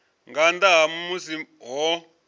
nga nnḓa ha musi ho